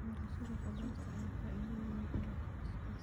Beerashada khudaarta ayaa faa'iido weyn u leh qoyska.